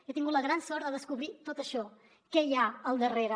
he tingut la gran sort de descobrir tot això què hi ha al darrere